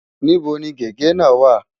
Níbo ni gègé náà wà?